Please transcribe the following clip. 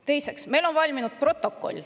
Teiseks, meil on valminud protokoll.